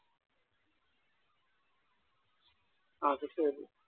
അതുശരി